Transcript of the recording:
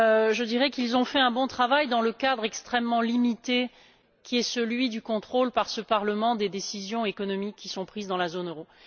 Je dirais qu'ils ont fait un bon travail dans le cadre extrêmement limité qui est celui du contrôle, par ce parlement, des décisions économiques qui sont prises dans la zone euro.